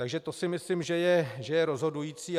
Takže to si myslím, že je rozhodující.